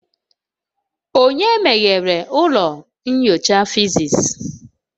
Onye meghere ụlọ nyocha physics.?